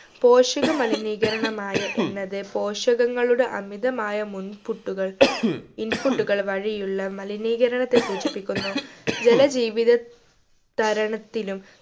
പോഷക മലിനീകരണമായ എന്നത് പോഷകങ്ങളുടെ അമിതമായ മുൻപുട്ടുകൾ input കൾ വഴിയുള്ള മലിനീകരണത്തെ സൂചിപ്പിക്കുന്നു ജല ജീവിത തരണത്തിലും